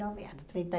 nove anos. Trinta e